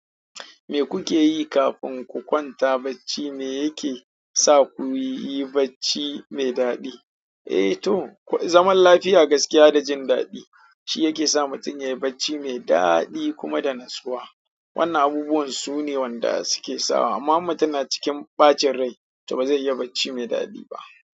Me kukayi kafin ku kwanta bacci me yake saku kuyi bacci mai daɗi eh to, zaman lafiya, gaskiya da jindaɗi shi yake sa mutum yayi bacci mai daɗi kuma da natsuwa. Wannan abubuwan sune wanda suke sawa. Amma in mutum na cikin bacin rai toh bazai iya bacci mai daɗi ba.